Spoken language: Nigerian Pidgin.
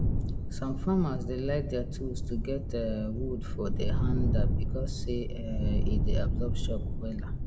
some farmers dey like dier tools to get um wood for de hander becos say um e dey absorb shock wela